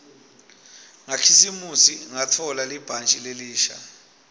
ngakhisimusi ngatfola libhantji lelisha